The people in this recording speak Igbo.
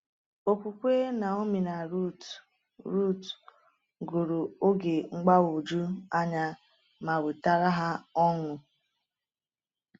Okwukwe Naomi na Ruth Ruth gụrụ oge mgbagwoju anya ma wetara ha ọṅụ.